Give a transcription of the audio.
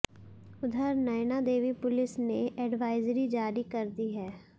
उधर नयनादेवी पुलिस ने एडवाइजरी जारी कर दी है